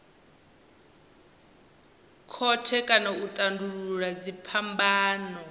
khothe kha u tandulula dziphambano